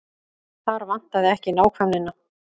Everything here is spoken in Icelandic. Þar vantaði ekki nákvæmnina.